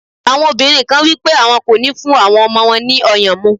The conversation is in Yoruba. Àwọn obìnrin kan wípé àwọn kò ní fún àwọn ọmọ wọn ní ọyàn mu.